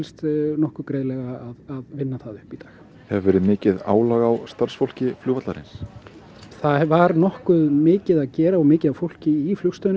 nokkuð greiðlega að vinna það upp í dag hefur verið mikið álag á starfsfólki flugvallarins það var nokkuð mikið að gera og mikið af fólki í flugstöðinni